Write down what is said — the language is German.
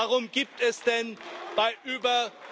Warum gibt es denn bei über...